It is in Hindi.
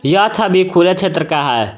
यह छवि खुले क्षेत्र का है।